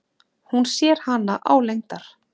Hún sér hana álengdar.